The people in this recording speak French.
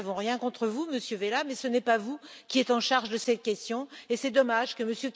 Nous n'avons rien contre vous, Monsieur Vella, mais ce n'est pas vous qui êtes en charge de ces questions et c'est dommage que M.